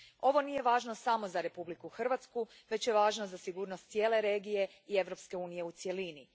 Ovo nije važno samo za Republiku Hrvatsku, već je važno za sigurnost cijele regije i Europske unije u cjelini.